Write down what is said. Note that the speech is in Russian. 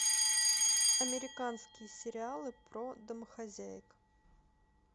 американские сериалы про домохозяек